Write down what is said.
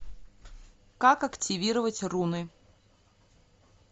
как активировать руны